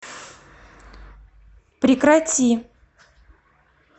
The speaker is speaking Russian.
прекрати